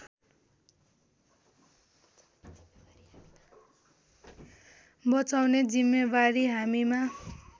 बचाउने जिम्मेवारी हामीमा